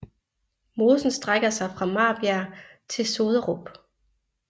Mosen strækker sig fra Marbjerg til Soderup